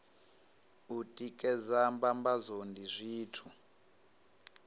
u tikedza mbambadzo ndi zwithu